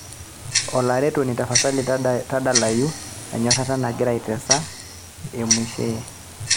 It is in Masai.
olaretoni tapasali tadalayu enyorata nagira aitesa e mwinshehe